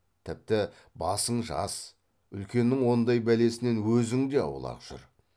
тіпті басың жас үлкеннің ондай бәлесінен өзің де аулақ жүр